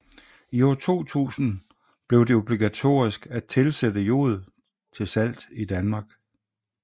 I år 2000 blev det obligatorisk at tilsætte jod til salt i Danmark